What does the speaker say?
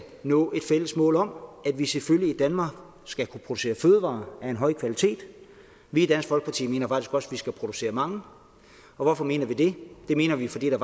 nå et fælles mål om at vi selvfølgelig i danmark skal kunne producere fødevarer af en høj kvalitet vi i dansk folkeparti mener faktisk også vi skal producere mange og hvorfor mener vi det det mener vi fordi der